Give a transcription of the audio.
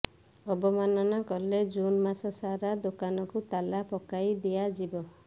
ଅବମାନନା କଲେ ଜୁନ୍ ମାସ ସାରା ଦୋକାନକୁ ତାଲା ପକାଇ ଦିଆଯିବ